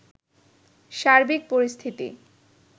সার্বিক পরিস্থিতি